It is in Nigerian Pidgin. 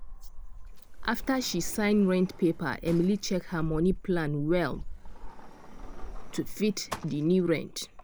after she sign rent paper emily check her money plan well to fit di new rent.